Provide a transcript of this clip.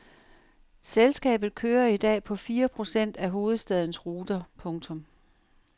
Selskabet kører i dag på fire procent af hovedstadens ruter. punktum